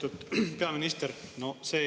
Lugupeetud peaminister!